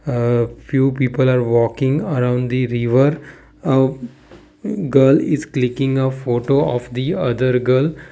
uh few people are walking around the river uh girl is clicking a photo of the other girl.